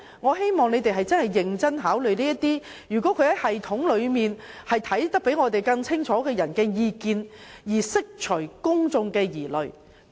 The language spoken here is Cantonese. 我希望政府會認真考慮那些對有關系統較我們有更清晰觀察的人士的意見，從而釋除公眾疑慮。